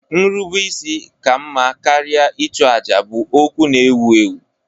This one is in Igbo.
Nrubeisi ka mma karịa ịchụ àjà bụ okwu na-ewu ewu.